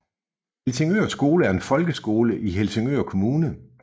Helsingør Skole er en folkeskole i Helsingør Kommune